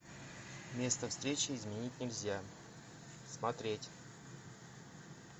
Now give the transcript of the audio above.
место встречи изменить нельзя смотреть